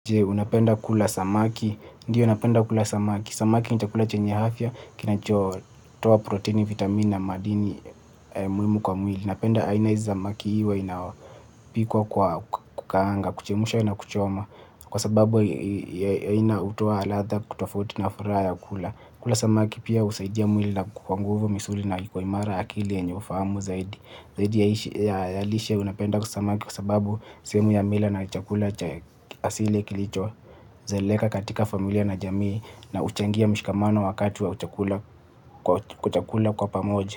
Unapenda kula samaki? Ndio napenda kula samaki. Samaki ni chakula chenye afya, kinachotoa protini, vitamini na madini muhimu kwa mwili. Napenda aina hizi samaki iwe inapikwa kwa kukaanga, kuchemusha na kuchoma. Kwa sababu aina hutoa ladha tofauti na furaha ya kula. Kula samaki pia husaidia mwili inakuwa nguvu misuli inakuwa kwa imara akili yenye ufahamu zaidi. Zaidi ya lishe napenda samaki kwa sababu sehemu ya mila na chakula cha asili kilichozoeleka katika familia na jamii na huchangia mshikamano wa kati wa chakula kwa pamoja.